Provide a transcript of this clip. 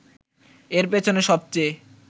এর পেছনে সবচেয়ে